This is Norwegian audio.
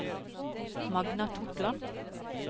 Magna Totland